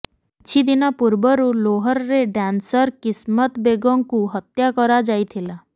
କିଛିଦିନ ପୂର୍ବରୁ ଲୋହରରେ ଡ୍ୟାନସର୍ କିସମତ ବେଗଙ୍କୁ ହତ୍ୟା କରାଯାଇଥିଲା